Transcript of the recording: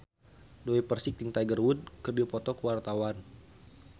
Dewi Persik jeung Tiger Wood keur dipoto ku wartawan